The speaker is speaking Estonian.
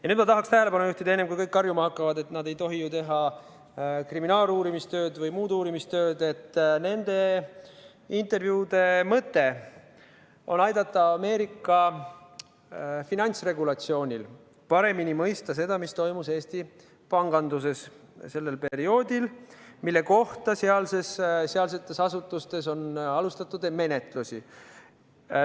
Ja nüüd ma tahaksin tähelepanu juhtida, enne kui kõik karjuma hakkavad, et nad ei tohi teha kriminaaluurimistööd või muud uurimistööd, et nende intervjuude mõte on aidata Ameerika finantsregulatsiooni asjatundatel paremini mõista seda, mis toimus Eesti panganduses sellel perioodil, mille kohta sealsetes asutustes on menetlusi alustatud.